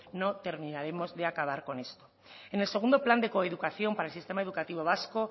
no terminaremos de acabar con eso en el segundo plan de coeducación para el sistema educativo vasco